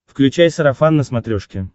включай сарафан на смотрешке